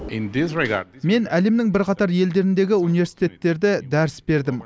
мен әлемнің бірқатар елдеріндегі университеттерде дәріс бердім